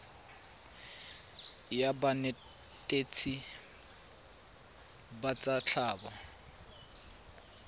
la banetetshi ba tsa tlhago